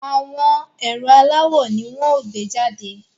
Àwọn ẹ̀rọ aláwò ni wọ́n ó gbé jàde